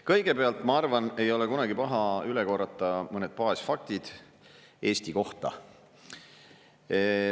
Kõigepealt, ma arvan, ei ole kunagi paha üle korrata mõned baasfaktid Eesti kohta.